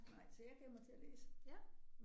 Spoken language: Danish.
Nej så jeg gav mig til at læse